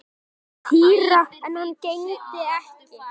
Týra en hann gegndi ekki.